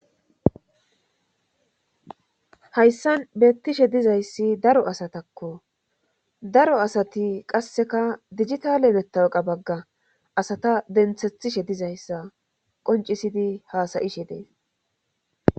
Hayssan beettishe dizayssi daro asatakko daro asati qasseka digitale mettawqa bagga asata denthethishe dizayssa qoncisidi haasayishe dees